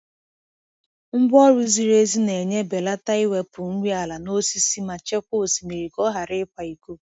Ngwa ọrụ ziri ezi na-enye belata iwepụ nri ala n'osisi ma chekwaa osimiri ka ọ ghara ịkwa iko.